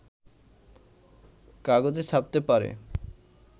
কাগজে ছাপতে পারে